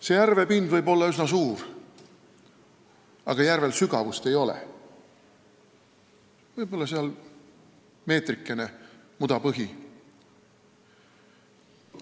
Selle järve pind võib olla üsna suur, aga järvel sügavust ei ole: võib-olla meetrikene, siis tuleb mudane põhi.